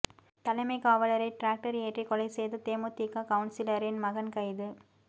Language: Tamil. தலைமைக் காவலரை டிராக்டர் ஏற்றி கொலை செய்த தேமுதிக கவுன்சிலரின் மகன் கைது